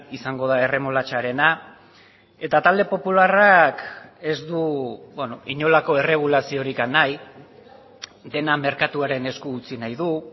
izango da erremolatxarena eta talde popularrak ez du inolako erregulaziorik nahi dena merkatuaren esku utzi nahi du